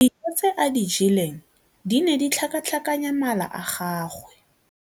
Dijô tse a di jeleng di ne di tlhakatlhakanya mala a gagwe.